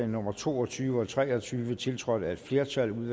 nummer to og tyve og tre og tyve tiltrådt af et flertal